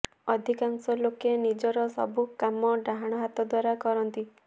ଅଧିକାଂଶ ଲୋକେ ନିଜର ସବୁ କାମ ଡାହାଣ ହାତ ଦ୍ବାରା କରନ୍ତି